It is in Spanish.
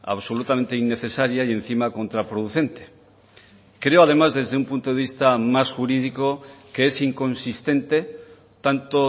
absolutamente innecesaria y encima contraproducente creo además desde un punto de vista más jurídico que es inconsistente tanto